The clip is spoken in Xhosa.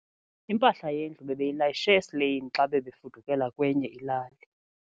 Impahla yendlu bebeyilayishe esileyini xa bebefudukela kwenye ilali.